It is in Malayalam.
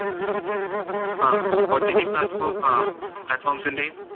ആ ott platforms ആ platforms ഇന്‍റെയും